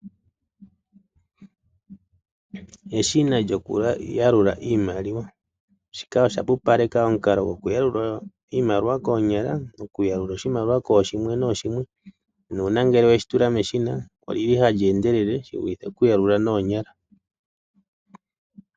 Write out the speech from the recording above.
Eshina lyoku yalula iimaliwa, shika osha pupaleka omukalo goku yalula iimaliwa koonyala. Oku yalula oshimaliwa koshimwe noshimwe nuuna ngele weshi tula meshina olyili hali endelele shi vulithe oku yalula noonyala.